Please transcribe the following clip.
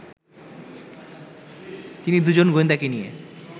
তিনি দুজন গোয়েন্দাকে নিয়ে